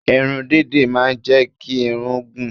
Irun dídì máa ń jẹ́ kí irun gùn.